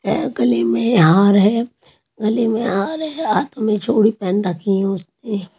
है गले में हार है गले में हार है हाथ में चूड़ी पहन रखी है उसने --